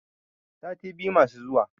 sati biyu masu zuwa